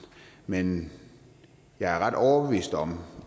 men jeg er ret overbevist om